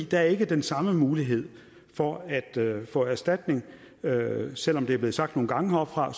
der er ikke den samme mulighed for at få erstatning selv om det er blevet sagt nogle gange heroppefra